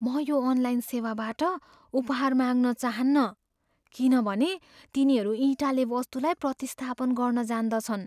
म यो अनलाइन सेवाबाट उपहार माग्न चाहन्नँ किनभने तिनीहरू इँटाले वस्तुलाई प्रतिस्थापन गर्न जान्दछन्।